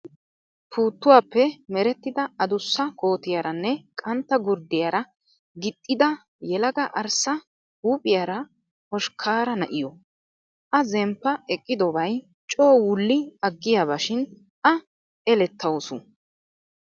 Puuttuwaappe merettida adussa kootiyaaranne qantta gurddiyaara gixxida yelaga arssa huuphphiyaara hoshkkaara na'iyoo. A zemppa eqqidobayi coo wulli aggiyaabashin A elettawusu.